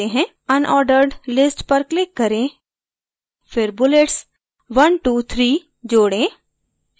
unordered list पर click करें फिर bulletsone two three जोडें